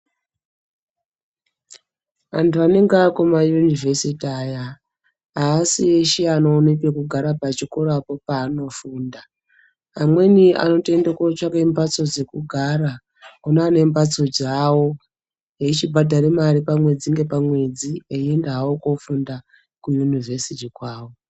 Anthu anenge akuma yunivhesiti aya aasi eshe anoona pekugara pachikorapo paanofunda amweni anotoende kootsvake mbhatso dzekugara kune ane mbhatso dzawo eichibhadhara mare pamwedzi ngepamwedzi eienda hawo koofunda kuyunivhesiti kwawo.